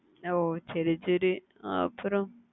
ஓஹ் சரி சரி அப்பறம்